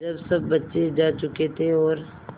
जब सब बच्चे जा चुके थे और